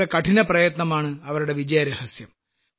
അവരുടെ കഠിനപ്രയത്നമാണ് അവരുടെ വിജയരഹസ്യം